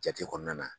Jate kɔnɔna na